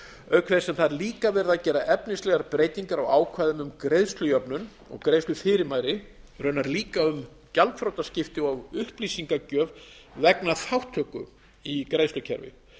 auk sem það er líka verið að gera efnislegar breytingar á ákvæði um greiðslujöfnun og greiðslufyrirmæli raunar líka um gjaldþrotaskipti og upplýsingagjöf vegna þátttöku í greiðslukerfi